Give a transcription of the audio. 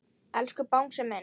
Elsku Bangsi minn.